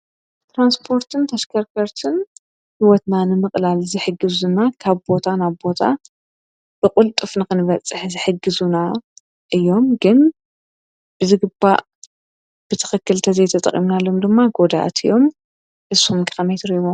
ትራንስፖርትን ተሽከርከርትን ህይወትና ንምቕላል ዝሕግዙና ካብ ቦታ ናብ ቦታ ብቕልጡፍ ንኽንበፅሕ ዝሕግዙና እዮም ግን ብዝግባእ ብትኽክል እንተዘይተጠቒምናሉ ድማ ጐዳእቲ እዮም እሱኹም ከ ከመይ ትርእይዎም ?